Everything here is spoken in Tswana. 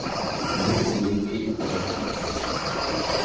mo tseleng e e kwa